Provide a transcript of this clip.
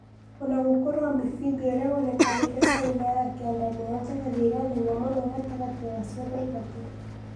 Onagũkorwo amphibia ũria wonekanire Caina ya Kianda niyo njagathi ĩria nene muno gatagate wa ciothe ithatũ